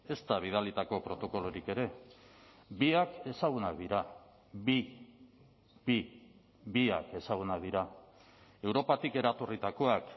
ezta bidalitako protokolorik ere biak ezagunak dira bi bi biak ezagunak dira europatik eratorritakoak